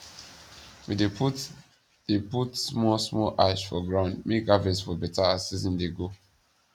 we dey put dey put small small ash for ground make harvest for beta as season dey go